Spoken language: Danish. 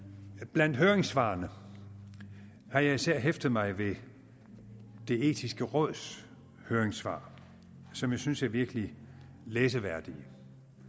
blandt høringssvarene har jeg især hæftet mig ved det etiske råds høringssvar som jeg synes er virkelig læseværdigt